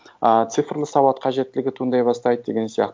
ыыы цифрлы сауат қажеттілігі туындай бастайды деген сияқты